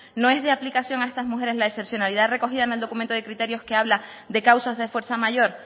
no es de aplicación a estas mujeres la excepcionalidad recogida en el documento de criterios que habla de causas de fuerza mayor